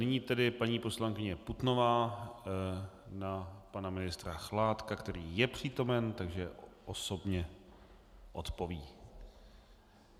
Nyní tedy paní poslankyně Putnová na pana ministra Chládka, který je přítomen, takže osobně odpoví.